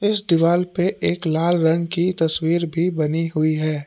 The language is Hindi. इस दीवाल पे एक लाल रंग की तस्वीर भी बनी हुई है।